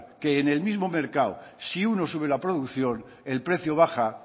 que en el mismo mercado si uno sube la producción el precio baja